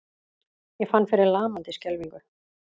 Ég fann fyrir lamandi skelfingu.